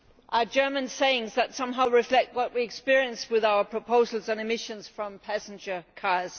are German sayings that somehow reflect what we experienced with our proposals on emissions from passenger cars.